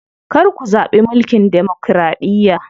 Kar ku zaɓi mulkin demokiraɗiya.